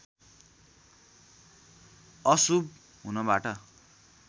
अशुभ हुनबाट